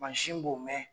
Mansin b'o mɛn